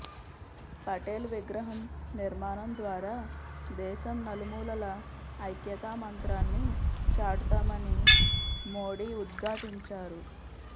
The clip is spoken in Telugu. పటేల్ విగ్రహం నిర్మాణం ద్వారా దేశం నలుమూలలా ఐక్యతా మంత్రాన్ని చాటుతామని మోడీ ఉద్ఘాటించారు